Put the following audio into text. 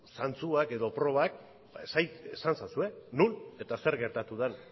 zantzuak edo probak esan ezazue non eta zer gertatu den